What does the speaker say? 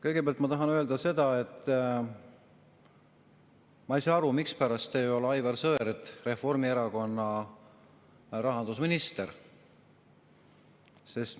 Kõigepealt, ma tahan öelda seda, et ma ei saa aru, mispärast ei ole Aivar Sõerd Reformierakonna rahandusminister.